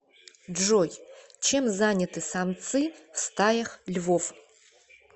джой чем заняты самцы в стаях львов